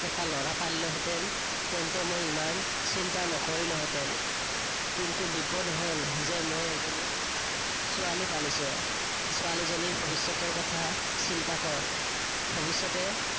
এটা লৰা পালিলোহেঁতেন, তেন্তে মই ইমান চিন্তা নকৰিলোহেঁতেন, কিন্তু বিপদ হল যে মই এজনী ছোৱালী পালিছো। ছোৱালীজনীৰ ভবিষ্যতৰ কথা চিন্তা কৰ, ভবিষ্যতে